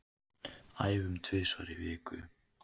Æfum tvisvar í viku